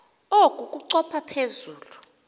oku kochopha phezu